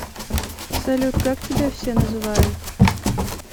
салют как тебя все называют